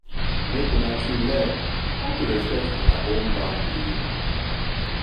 mek una two learn aw to respekt una own bandry o